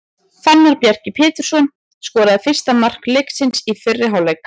Fannar Bjarki Pétursson skoraði fyrsta mark leiksins í fyrri hálfleik.